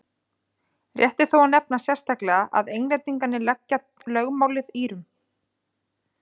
rétt er þó að nefna sérstaklega að englendingar tengja lögmálið írum